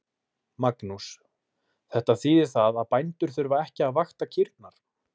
Magnús: Þetta þýðir það að bændur þurfa ekki að vakta kýrnar?